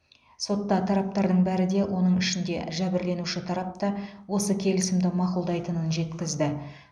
сотта тараптардың бәрі де оның ішінде жәбірленуші тарап та осы келісімді мақұлдайтынын жеткізді